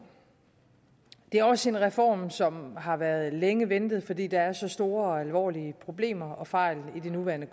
det er også en reform som har været længe ventet fordi der er så store og alvorlige problemer og fejl i det nuværende